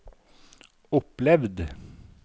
opplevd